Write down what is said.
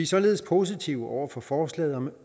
således positive over for forslaget og